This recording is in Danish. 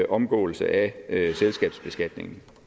omgåelse af selskabsbeskatningen